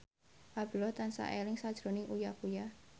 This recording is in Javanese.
Abdullah tansah eling sakjroning Uya Kuya